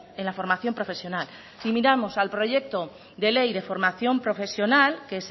en la formación profesional si miramos al proyecto de ley de formación profesional que